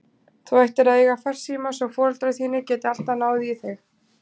Þú ættir að eiga farsíma svo foreldrar þínir geti alltaf náð í þig.